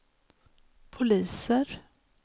poliser